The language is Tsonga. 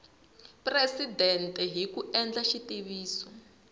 presidente hi ku endla xitiviso